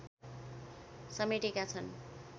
समेटेका छन्